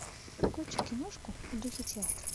включи киношку в духе театра